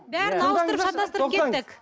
бәрін ауыстырып шатастырып кеттік